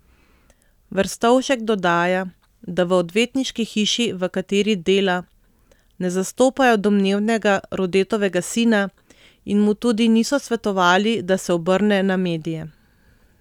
Verstovšek dodaja, da v odvetniški hiši, v kateri dela, ne zastopajo domnevnega Rodetovega sina in mu tudi niso svetovali, da se obrne na medije.